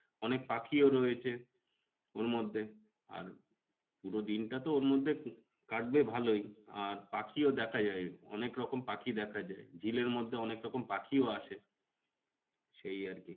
অনেক পাখিও রয়েছে ওর মধ্যে আর পুরো দিনটা তো ওর মধ্যে কাটবে ভালোই। আর পাখিও দেখা যায়, অনেক রকম পাখি দেখা যায়। ঝিলের মধ্যে অনেক রকম পাখিও আসে সেই আর কি